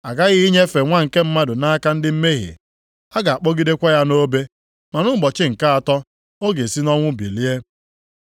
‘A ghaghị inyefe Nwa nke Mmadụ nʼaka ndị mmehie, a ga-akpọgidekwa ya nʼobe ma nʼụbọchị nke atọ ọ ga-esi nʼọnwụ bilie.’ ”